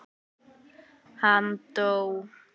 Hann dó.